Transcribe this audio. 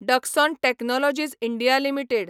Dixon technologies India limited